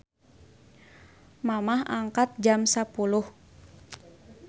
Mamah angkat jam 10.00